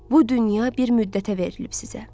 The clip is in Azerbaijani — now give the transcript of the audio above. Bu dünya bir müddətə verilib sizə.